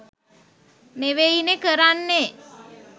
නෙවෙයිනේ කරන්නේ.